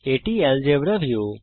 এটি algebra view